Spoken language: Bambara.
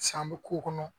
San bɛ k'o kɔnɔ